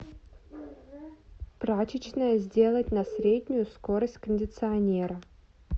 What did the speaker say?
прачечная сделать на среднюю скорость кондиционера